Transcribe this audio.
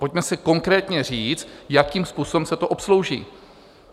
Pojďme si konkrétně říct, jakým způsobem se to obslouží.